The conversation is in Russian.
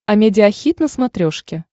амедиа хит на смотрешке